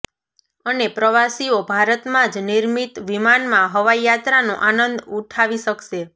અને પ્રવાસીઓ ભારતમાં જ નિર્મિત વિમાનમાં હવાઈયાત્રાનો આનંદ ઉઠાવી શકશે